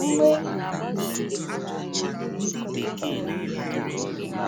Mgbọ égbè nọ na - efefesị n’osisi ndị dị n’ubi anyị.